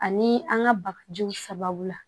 Ani an ka bagajiw sababu la